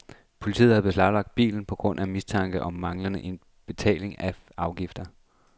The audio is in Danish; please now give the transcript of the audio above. Politiet har beslaglagt bilen på grund af mistanke om manglende betaling af afgifter.